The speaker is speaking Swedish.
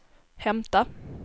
hämta